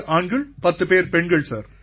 ஆண்கள் பத்துப் பேர்கள் பெண்கள் சார்